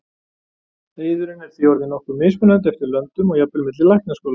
Eiðurinn er því orðinn nokkuð mismunandi eftir löndum og jafnvel milli læknaskóla.